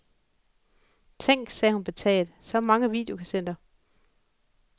Tænk, sagde hun betaget, så mange videokassetter.